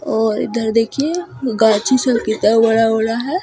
और इधर देखिए गाछी सब कितना बड़ा-बड़ा है ।